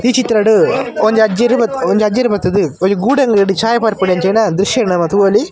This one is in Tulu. ಈ ಚಿತ್ರಡ್ ಒಂಜಿ ಅಜ್ಜೆರ್ ಬತ್ ಒಂಜಿ ಅಜ್ಜೆರ್ ಬತ್ತುದು ಒಂಜಿ ಗೂಡಂಗಡಿಡ್ ಚಾಯ್ ಪರ್ಪುನಂಚಿನ ದ್ರಶ್ಯ ನಮ ತೂವೊಲಿ .